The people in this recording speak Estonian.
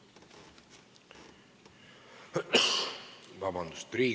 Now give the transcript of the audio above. Palun vabandust!